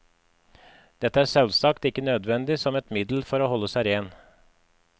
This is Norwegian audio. Dette er selvsagt ikke nødvendig som et middel for å holde seg ren.